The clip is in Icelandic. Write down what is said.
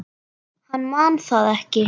Hann man það ekki.